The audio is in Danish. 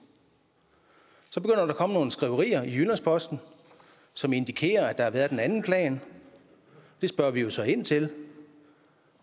så begynder der at komme nogle skriverier i jyllands posten som indikerer at der har været en anden plan det spørger vi jo så ind til